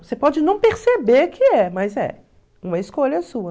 Você pode não perceber que é, mas é. Uma escolha sua.